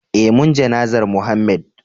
eh mun jana'zar Mohammed